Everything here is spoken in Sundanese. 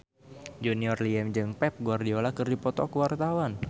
Junior Liem jeung Pep Guardiola keur dipoto ku wartawan